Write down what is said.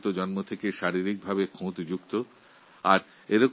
আবার কিছু মানুষ জন্মগতভাবে শারীরিক অক্ষমতার শিকার হন